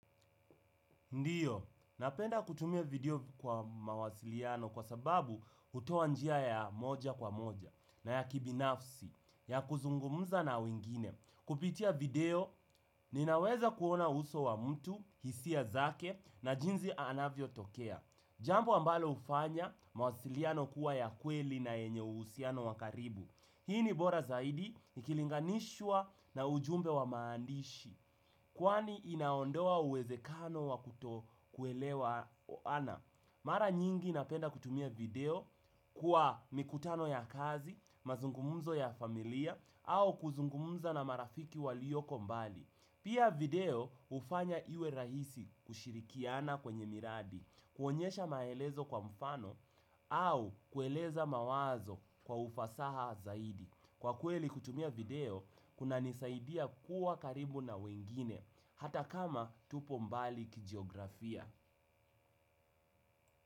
Ndiyo, napenda kutumia video kwa mawasiliano kwa sababu hutoa njia ya moja kwa moja na ya kibinafsi ya kuzungumza na wengine. Kupitia video, ninaweza kuona uso wa mtu, hisia zake na jinsi anavyotokea. Jambo ambalo hufanya mawasiliano kuwa ya kweli na yenye uhusiano wa karibu. Hii ni bora zaidi ikilinganishwa na ujumbe wa maandishi. Kwani inaondoa uwezekano wa kutokuelewana. Mara nyingi napenda kutumia video kwa mikutano ya kazi, mazungumzo ya familia au kuzungumza na marafiki walioko mbali pia video hufanya iwe rahisi kushirikiana kwenye miradi kuonyesha maelezo kwa mfano au kueleza mawazo kwa ufasaha zaidi kwa kweli kutumia video kunanisaidia kuwa karibu na wengine hata kama tupo mbali kijiografia.